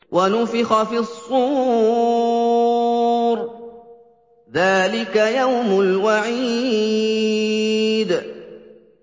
وَنُفِخَ فِي الصُّورِ ۚ ذَٰلِكَ يَوْمُ الْوَعِيدِ